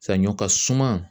Saɲɔ ka suma